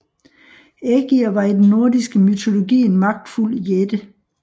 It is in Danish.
Ægir var i den nordiske mytologi en magtfuld jætte